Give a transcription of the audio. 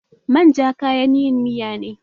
Man ja kayan yin miya ne.